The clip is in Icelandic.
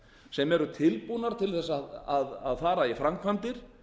sem eru tilbúnar til að fara í framkvæmdir